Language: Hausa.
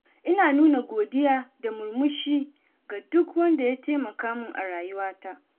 Ina nuna godiya da murmushi ga duk wanda ya taimaka min a rayuwata.